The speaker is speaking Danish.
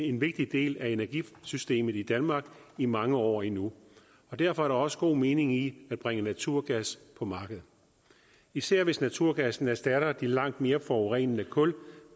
en vigtig del af energisystemet i danmark i mange år endnu og derfor er der også god mening i at bringe naturgas på markedet især hvis naturgassen erstatter den langt mere forurenende kul